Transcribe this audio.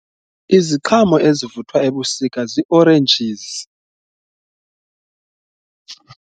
Iziqhamo ezivuthwa ebusika zii-oranges.